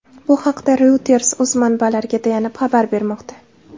Bu haqda Reuters o‘z manbalariga tayanib xabar bermoqda .